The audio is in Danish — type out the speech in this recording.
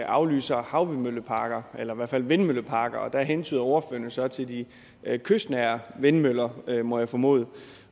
aflyser havvindmølleparker eller i hvert fald vindmølleparker og der hentyder ordføreren jo så til de kystnære vindmøller må jeg formode